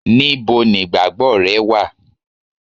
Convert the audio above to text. níbo nigbagbo re wa